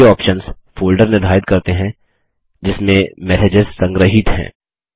ये options folder निर्धारित करते हैं जिसमें मैसेजेस संग्रहीत हैं